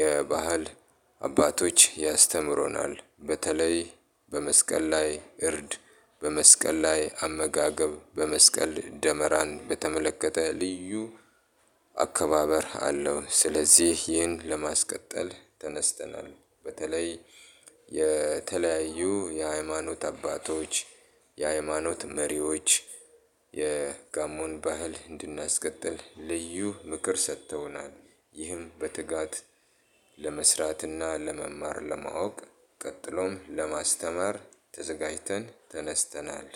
የባህል አባቶች ያስተምሮናል። በተለይ በመስቀል ላይ እርድ በመስቀል ላይ አመጋገብ በመስቀል ደመራን በተመለከተ ልዩ አከባበር አለው። ስለዚህ ይህን ለማስቀጠል ተነስተናል። በተለይ የተለያዩ የሃይማኖት አባቶች የሃይማኖት መሪዎች የጋሞን ባህል እንድናስቀጥል ልዩ ምክር ሰጥተውናል። ይህም በትጋት ለመስራትና ለመማር ለማወቅ ቀጥሎም ለማስተማር ተዘጋጅተን ተነስተናል።